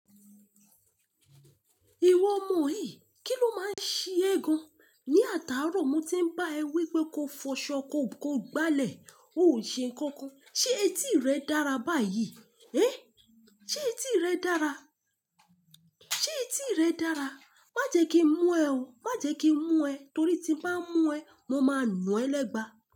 Ìwọ ọmọ yìí, kí ló máa ń ṣe gan-an? Ni àtàárọ̀ mo ti ń bá ẹ wí pé ko fọṣọ, ko, ko gbálẹ̀, o ò ṣe nnkan kan. Ṣé etí rẹ dára báyìí? Hé! Ṣé etí rẹ dára? Ṣé etí rẹ dára? Má jẹ kí n mú ẹ o. Má jẹ kí n mú ẹ torí tí mo bá mú ẹ, mo máa nu ẹ lẹ́gba.